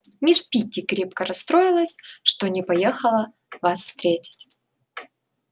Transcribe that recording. мисс питти крепко расстроилась что не поехала вас встретить